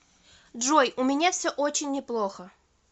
джой у меня все очень неплохо